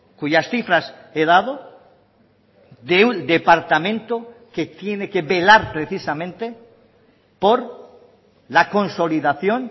cuyas cifras he dado de un departamento que tiene que velar precisamente por la consolidación